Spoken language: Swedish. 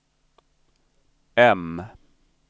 M